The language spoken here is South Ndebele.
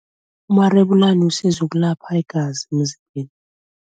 Umarebulani usiza ukulapha igazi emzimbeni.